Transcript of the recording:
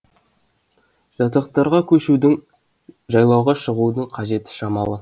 жатақтарға көшудің жайлауға шығудың қажеті шамалы